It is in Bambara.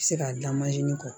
Se ka da mansin kɔ